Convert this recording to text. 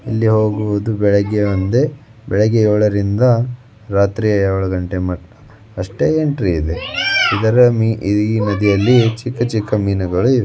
ಇಲ್ಲಿ ಹೋಗುವುದು ಬೆಳಗ್ಗೆ ಒಂದೆ. ಬೆಳಗ್ಗೆ ಯೋಳರಿಂದ ರಾತ್ರಿ ಯೋಳು ಘಂಟೆ ಮ ಅಷ್ಟೇ ಎಂಟ್ರಿ ಇದೆ ಇದರ ಮೀ-ಇ-ಈ ನದಿಯಲ್ಲಿ ಚಿಕ್ಕ ಚಿಕ್ಕ ಮೀನುಗಳು ಇ--